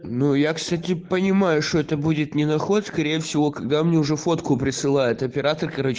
ну я кстати понимаю что это будет не наход скорее всего когда мне уже фотку присылает оператор короче